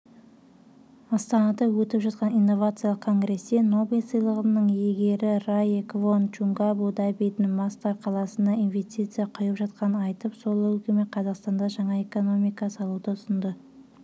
астанада өтіп жатқан инновациялық конгрестенобель сыйлығының иегерірае квон чунгабу-дабидің масдар қаласына инвестицияқұйып жатқанын айтып сол үлгіменқазақстанда жаңа эко-қала салуды ұсынды